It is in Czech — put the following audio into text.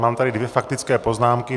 Mám tady dvě faktické poznámky.